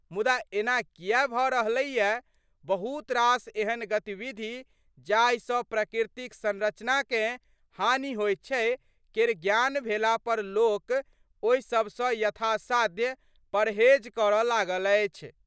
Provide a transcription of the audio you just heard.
मुदा एना किया भऽ रहलैया? बहुत रास एहन गतिविधि जाहिसँ प्रकृतिक संरचनाकें हानि होइत छै केर ज्ञान भेलापर लोक ओहिसभसँ यथासाध्य परहेज करऽ लागल अछि।